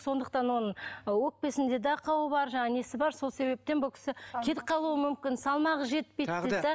сондықтан оның өкпесінде де ақауы бар жаңағы несі бар сол себептен бұл кісі кетіп қалуы мүмкін салмағы жетпейді дейді де